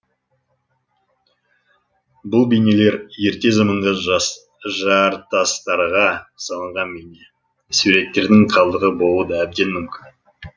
бұл бейнелер ерте заманғы жартастарға салынған бейне суреттердің қалдығы болуы да әбден мүмкін